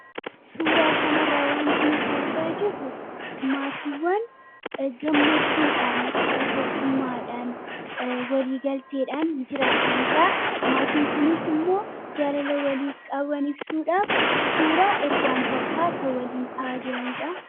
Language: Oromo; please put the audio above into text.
Suuraa kanarraa waan nuti argaa jirru maatiiwwan gammachuudhaan tokkummaadhaan waliigalteedhaan jiraataniidha. Maatiin kunis immoo jaalala walii qaban ibsuudhaaf suuraa erga takkaa kan waliin ka'an jiraniidha.